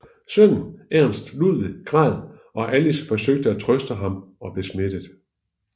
Sønnen Ernst Ludwig græd og Alice forsøgte at trøste ham og blev smittet